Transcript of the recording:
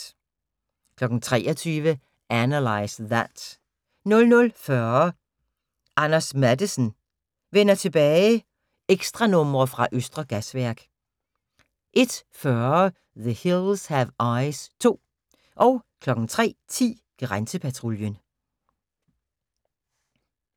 23:00: Analyze That 00:40: Anders Matthesen: Vender tilbage – ekstranumre fra Østre Gasværk 01:40: The Hills Have Eyes 2 03:10: Grænsepatruljen